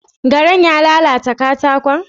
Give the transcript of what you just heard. Garan ya lalata katakon?